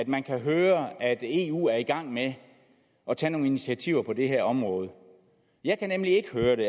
man kan høre at eu er i gang med at tage nogle initiativer på det her område jeg kan nemlig ikke høre det